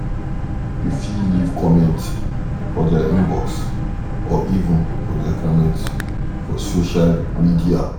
You fit leave comment for their Inbox or even for their comment for social media